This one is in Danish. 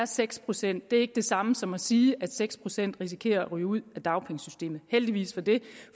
seks procent det er ikke det samme som at sige at seks procent risikerer at ryge ud af dagpengesystemet heldigvis for det